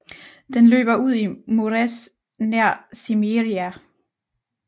Den løber ud i Mureș nær Simeria